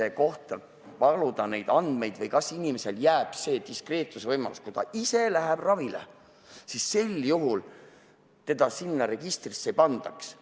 Aga kas meil on vaja varuda nii palju andmeid inimese kohta või kas inimesele jääb see diskreetsuse võimalus, et kui ta ise läheb ravile, siis teda sinna registrisse ei panda?